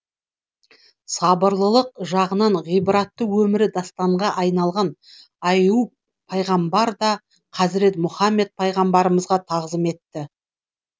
сабырлылық жағынан ғибратты өмірі дастанға айналған аййуб пайғамбар да хазірет мұхаммед пайғамбарымызға тағзым етті